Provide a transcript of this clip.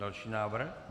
Další návrh.